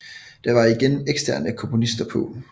Der var igen eksterne komponister på